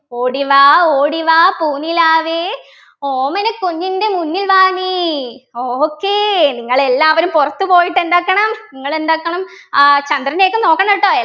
ഓടിവാ ഓടിവാ പൂനിലാവേ ഓമനക്കുഞ്ഞിൻ്റെ മുന്നിൽ വാ നീ okay നിങ്ങളെല്ലാവരും പുറത്തു പോയിട്ടെന്താക്കണം നിങ്ങളെന്താക്കണം ആഹ് ചന്ദ്രനെയൊക്കെ നോക്കണട്ടോ